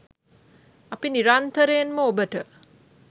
අපි නිරන්තරයෙන්ම ඔබට